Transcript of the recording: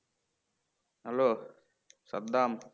hello Saddam"